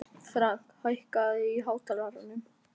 Frank, hækkaðu í hátalaranum.